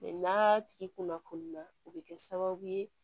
n'a tigi kunnafoni na o bɛ kɛ sababu ye